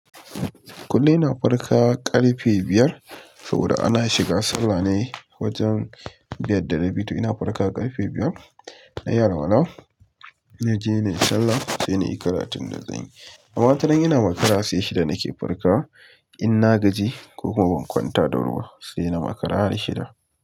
Kullum ina farka ƙarfe biyar saboda ana shiga sallah ne wajen biyar da rabi. To ina farka ƙarfe biyar na yi alala, na je nayi sallah, sai na yi karatun da zanyi. Wataran ina makara sai shida nake farka in na gaji ko kuma ban kwanta da wuri ba sai na makara har shida.